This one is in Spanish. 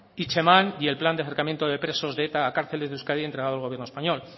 hitzeman y el plan de acercamiento de presos de eta a cárceles de euskadi entregado al gobierno español